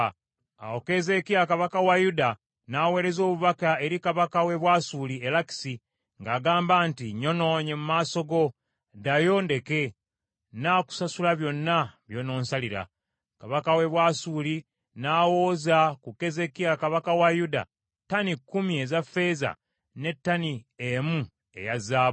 Awo Keezeekiya kabaka wa Yuda n’aweereza obubaka eri kabaka w’e Bwasuli e Lakisi ng’agamba nti, “Nnyonoonye mu maaso go; ddayo ondeke. Nnaakusasula byonna by’ononsalira.” Kabaka w’e Bwasuli n’awooza ku Keezeekiya kabaka wa Yuda ttani kkumi eza ffeeza ne ttani emu eya zaabu.